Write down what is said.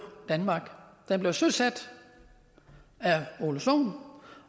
danmark den blev søsat af ole sohn